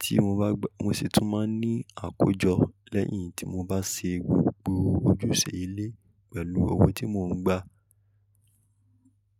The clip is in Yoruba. Tí mo bá gbà, mo sì tún máa ní àkójọ lẹ́yìn tí mo bá ṣe gbogbo ojúṣe ilé pẹ̀lú owó tí mò ń gbà.